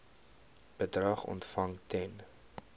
bedrag ontvang ten